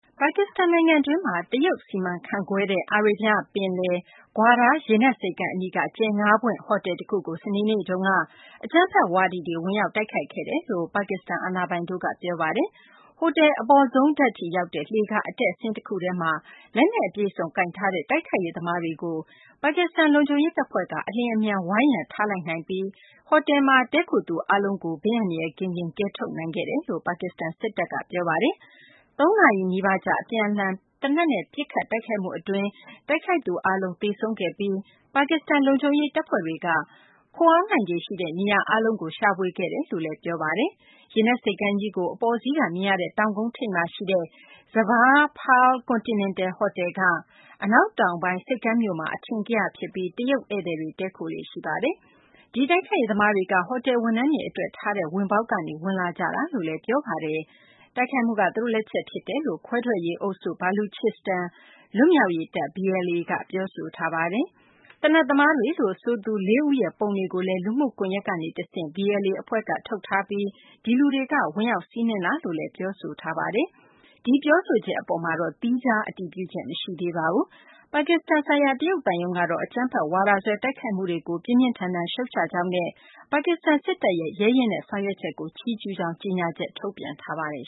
ပါကစ္စတန် နိုင်ငံတွင်းမှာ တရုတ် စီမံခန့်ခွဲတဲ့ အာရေးဗျ ပင်လယ် Gwadar ရေနက် ဆိပ်ကမ်း အနီးက ကြယ် ၅ ပွင့် ဟိုတယ်တခုကို စနေနေ့တုန်းက အကြမ်းဖက်ဝါဒီတွေ ဝင်ရောက် တိုက်ခိုက်ခဲ့ကြောင်း ပါကစ္စတန် အာဏာပိုင်တို့က ပြောပါတယ်။ ဟိုတယ် အပေါ်ဆုံးထပ်ထိရောက်တဲ့ လှေကား အတက်အဆင်း တခုထဲမှာ လက်နက်အပြည့်အစုံ ကိုင်ဆောင်ထားတဲ့ တိုက်ခိုက်ရေးသမားတွေကို ပါကစ္စတန် လုံခြုံရေး တပ်ဖွဲ့က အလျင်အမြန် ဝိုင်းရံထားလိုက်နိုင်ပြီး ဟိုတယ်မှာ တည်းခိုသူ အားလုံးကို ဘေးအန္တရာယ် ကင်းကင်း ကယ်ထုတ်နိုင်ခဲ့တယ်လို့ ပါကစ္စတန် စစ်တပ်က ပြောပါတယ်။ ၃ နာရီ နီးပါးကြာ အပြန်အလှန် သေနတ်နဲ့ ပစ်ခတ်တိုက်ခိုက်မှုအတွင်း တိုက်ခိုက်သူ အားလုံး သေဆုံးခဲ့ပြီး ပါကစ္စတန် လုံခြုံရေး တပ်ဖွဲ့တွေက ခိုအောင်းနိုင်ခြေရှိတဲ့ နေရာအားလုံးကို ရှာဖွေခဲ့တယ်လို့လည်း ပြောပါတယ်။ ရေနက်ဆိပ်ကမ်းကြီးကို အပေါ်စီးက မြင်ရတဲ့ တောင်ကုန်းထိပ်မှာ ရှိတဲ့ Zaver Pearl Continental ဟိုတယ်က အနောက်တောင်ပိုင်း ဆိပ်ကမ်းမြို့မှာ အထင်ကရဖြစ်ပြီး တရုတ် ဧည့်သည်တွေ တည်းခိုလေ့ ရှိပါတယ်။ ဒီတိုက်ခိုက်ရေး သမားတွေက ဟိုတယ် ဝန်ထမ်းတွေ အတွက် ထားတဲ့ ဝင်ပေါက်ကနေ ဝင်လာခဲ့ကြတာလို့လည်း ပြောဆိုကြပါတယ်။ ဒီတိုက်ခိုက်မှုက သူတို့ လက်ချက် ဖြစ်တယ်လို့ ခွဲထွက်ရေး အုပ်စု Baluchistan လွတ်မြောက်ရေးတပ် BLA က ပြောဆိုထားပါတယ်။ သေနတ်သမားတွေလို့ ဆိုသူ ၄ ဦးရဲ့ ပုံတွေကိုလည်း လူမှုကွန်ယက်ကနေ တဆင့် BLA အဖွဲ့က ထုတ်ပြန်ထားပြီး ဒီလူတွေက ဝင်ရောက်စီးနင်းခဲ့တာလို့လည်း ပြောဆိုပါတယ်။ ဒီပြောဆိုချက် အပေါ် သီးခြား အတည်ပြုချက်တော့ မရှိသေးပါဘူး။ ပါကစ္စတန် ဆိုင်ရာ တရုတ် သံရုံးကတော့ အကြမ်းဖက်ဝါဒစွဲ တိုက်ခိုက်မှုတွေကို ပြင်းပြင်းထန်ထန် ရှုတ်ချကြောင်းနဲ့ ပါကစ္စတန် စစ်တပ်ရဲ့ ရဲရင့်တဲ့ ဆောင်ရွက်ချက်ကို ချီးကျူးပါကြောင်း ကြေညာချက်ထုတ်ပြန်ထားပါတယ်